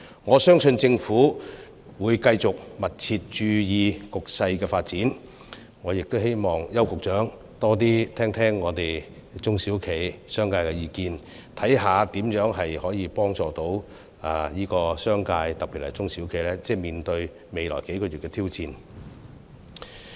我相信政府會繼續密切注意局勢的發展，我亦希望邱局長多聆聽中小企和商界的意見，看看如何幫助商界，特別是中小企面對未來數月的挑戰。